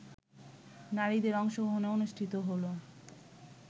নারীদের অংশগ্রহণে অনুষ্ঠিত হল